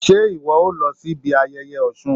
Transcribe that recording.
se iwọ o lo sibí ayéyé Òsún?